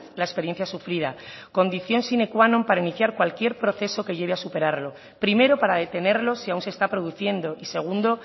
la experiencia sufrida condición sine qua non para iniciar cualquier proceso que lleve a superarlo primero para detenerlo si aún se está produciendo y segundo